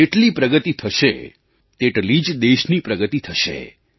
તમારી જેટલી પ્રગતિ થશે તેટલી જ દેશની પ્રગતિ થશે